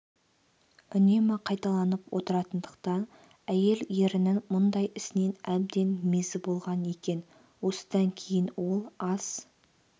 үнемі қайталанып отыратындықтан әйел ерінің мұндай ісінен әбден мезі болған екен осыдан кейін ол ас